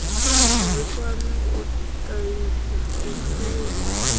ri kwame u tahisa vhupfiwa